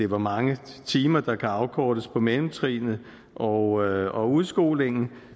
hvor mange timer der kan afkortes på mellemtrinnet og udskolingen